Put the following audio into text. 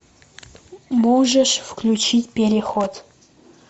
можешь включить переход